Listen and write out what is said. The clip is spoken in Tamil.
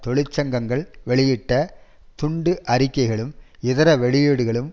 தொழிற்சங்கங்கள் வெளியிட்ட துண்டு அறிக்கைகளும் இதர வெளியீடுகளும்